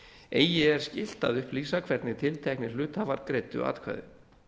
eigi er skylt að upplýsa hvernig tilteknir hluthafar greiddu atkvæði